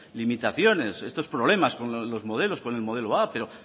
limitaciones estos problemas con los modelos con el modelo a pero